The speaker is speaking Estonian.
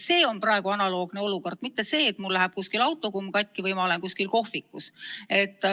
See on praegu analoogne olukord, mitte see, et mul läheb kuskil autokumm katki või ma olen kuskil kohvikus.